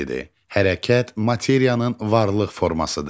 Hərəkət materiyanın varlıq formasıdır.